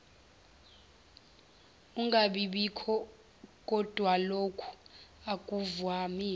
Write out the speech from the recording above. ungabibikho kodwalokhu akuvamile